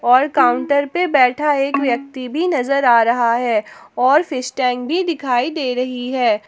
और काउंटर पे बैठा एक व्यक्ति भी नजर आ रहा है और फिश टैंक भी दिखाई दे रही है।